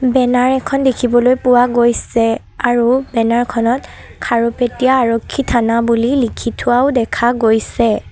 Banner এখন দেখিবলৈ পোৱা গৈছে আৰু বেনাৰ খনত খাৰুপেটিয়া আৰক্ষী থানা বুলি লিখি থোৱাও দেখা গৈছে।